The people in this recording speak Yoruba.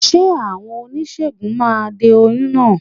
Ṣé àwọn oníṣègùn máa de oyún náà?